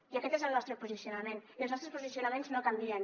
i aquest és el nostre posicionament i els nostres posicionaments no canvien